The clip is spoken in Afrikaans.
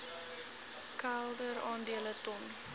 kelder aandele ton